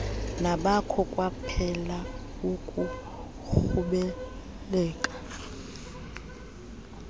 nakho kwaphela ukuqhubeleka